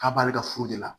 K'a b'ale ka furu de la